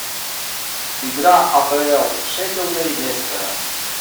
игра апл шеффилда и лестера